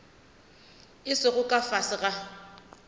a sego ka fase ga